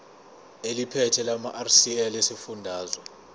eliphethe lamarcl esifundazwe